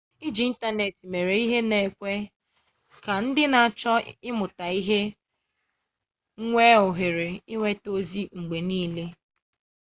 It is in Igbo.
iji ịntanetị mere ihe na-ekwe ka ndị na-achọ ịmụta ihe nwee ohere inweta ozi mgbe nile